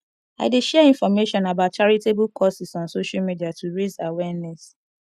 i dey share information about charitable causes on social media to raise awareness